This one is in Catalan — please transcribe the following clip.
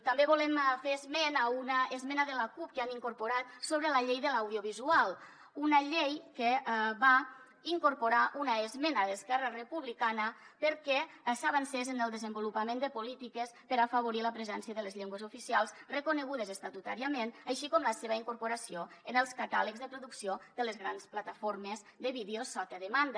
també volem fer esment d’una esmena de la cup que han incorporat sobre la llei de l’audiovisual una llei que va incorporar una esmena d’esquerra republicana perquè s’avancés en el desenvolupament de polítiques per afavorir la presència de les llengües oficials reconegudes estatutàriament així com la seva incorporació en els catàlegs de producció de les grans plataformes de vídeo sota demanda